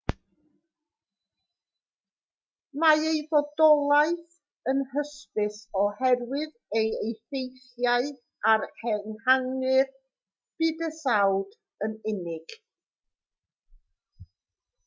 mae ei fodolaeth yn hysbys oherwydd ei effeithiau ar ehangu'r bydysawd yn unig